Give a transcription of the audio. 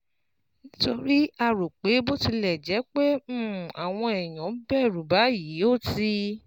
Nítorí a rò pé bó tilẹ̀ jẹ́ pé um àwọn èèyàn ń bẹ̀rù báyìí, ó ti